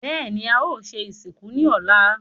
Bẹ́ẹ̀ni, a o se ìsìnkú ní ọ̀la